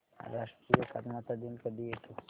राष्ट्रीय एकात्मता दिन कधी येतो